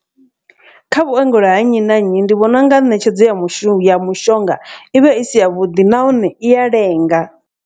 Kha vhuongelo ha nnyi na nnyi ndi vhona unga ṋetshedzo ya mushumo ya mushonga ivha i si ya vhuḓi nahone i ya lenga.